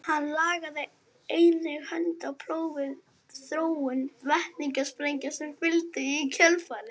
hann lagði einnig hönd á plóg við þróun vetnissprengja sem fylgdu í kjölfarið